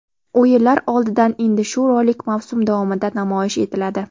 O‘yinlar oldidan endi shu rolik mavsum davomida namoyish etiladi.